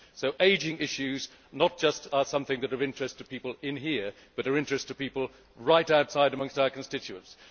50. So, ageing issues are not just something that are of interest to people in here but are of interest to people, right outside, amongst our constituents.